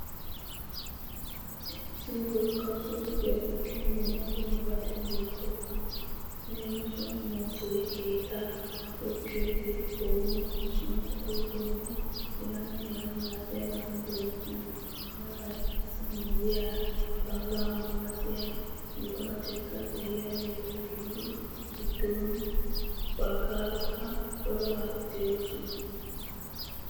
Issi wogga suuqiya giddon dumma dummabati beettoosona. Leem. muuzee, keettaa qucciyogee, oomoy, sunkkuruutoynne h.h.malatiyabati de'oosona. Harabay qassi miyyiyaara xawula malaria buquratikka de'iyageeta gididi, giddon baggaarakka corabati de'oosona.